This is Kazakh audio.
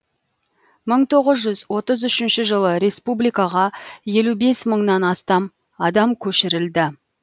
мың тоғыз жүз отыз үшінші жылы республикаға елу бес мыңнан астам адам көшірілді